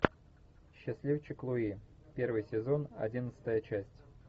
счастливчик луи первый сезон одиннадцатая часть